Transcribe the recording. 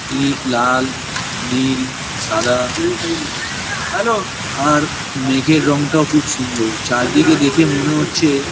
deep লাল নীল সাদা আর মেঘের রং টাও খুব সুন্দর চারিদিকে দেখে মনে হচ্ছে --